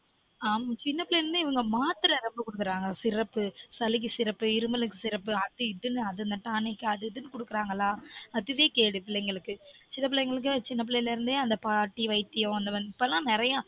ஆம் சின்ன பிள்ளைல இருந்தே இவங்க மாத்திரை ரொம்ப கொடுக்கறாங்க syrup சளிக்கு syrup இருமலுக்கு syrup அது இதுன்னு tanic குடுக்குறங்களா அதுவே கேடு இந்த பிள்ளைங்களுக்கு சில பிள்ளைங்களுக்கு அந்த பாட்டி வைத்தியம் அபோளோம் நெறைய